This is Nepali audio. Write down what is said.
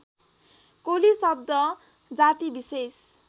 कोली शब्द जातिविशेष